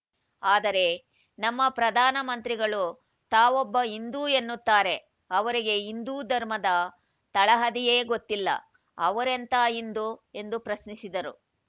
ಆದರೆ ನಮ್ಮ ಪ್ರಧಾನಮಂತ್ರಿಗಳು ತಾವೊಬ್ಬ ಹಿಂದೂ ಎನ್ನುತ್ತಾರೆ ಅವರಿಗೆ ಹಿಂದೂ ಧರ್ಮದ ತಳಹದಿಯೇ ಗೊತ್ತಿಲ್ಲ ಅವರೆಂಥಾ ಹಿಂದೂ ಎಂದು ಪ್ರಶ್ನಿಸಿದರು